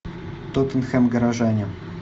тоттенхэм горожане